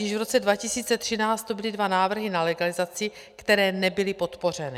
Již v roce 2013 tu byly dva návrhy na legalizaci, které nebyly podpořeny.